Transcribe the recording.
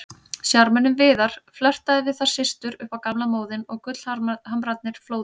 Sjarmörinn Viðar, flörtaði við þær systur upp á gamla móðinn og gullhamrarnir flóðu.